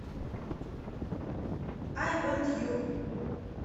ай вонт ю